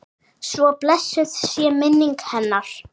Svo blessuð sé minning hennar.